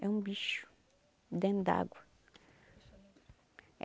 É um bicho dentro da água.